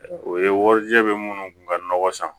O ye warijɛ bɛ minnu kun ka nɔgɔ san